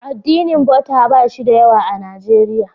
Addinin Buddha ba shi da yawa a Nijeriya.